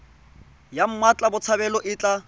ya mmatla botshabelo e tla